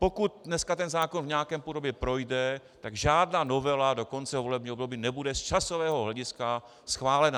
Pokud dneska ten zákon v nějaké podobě projde, tak žádná novela do konce volebního období nebude z časového hlediska schválena.